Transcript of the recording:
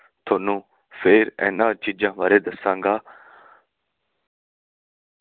ਥੋਨੂੰ ਫੇਰ ਇਹਨਾਂ ਚੀਜਾਂ ਬਾਰੇ ਦੱਸਾਂਗਾ